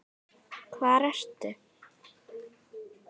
Hvar ertu?